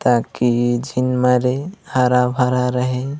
ताकि झीन मरे हरा-भरा रहे।